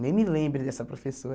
Nem me lembre dessa professora.